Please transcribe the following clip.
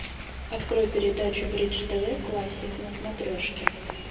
открой передачу бридж тв классик на смотрешке